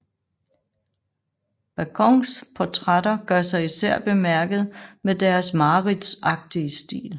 Bacons portrætter gør sig især bemærket med deres mareridtsagtige stil